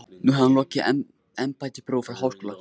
Nú hefði hann lokið embættisprófi frá Háskóla